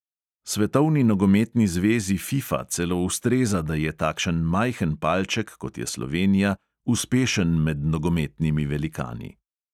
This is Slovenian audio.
Svetovni nogometni zvezi fifa celo ustreza, da je takšen majhen palček, kot je slovenija, uspešen med nogometnimi velikani.